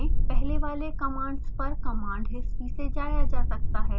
पहले वाले commands पर command history से जाया जा सकता है